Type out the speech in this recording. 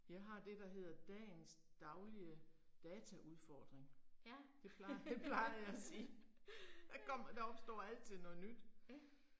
Jeg har det der hedder dagens daglige dataudfordring. Det plejer, det plejer jeg at sige. Der kom der opstår altid noget nyt